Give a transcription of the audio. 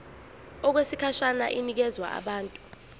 okwesikhashana inikezwa abantu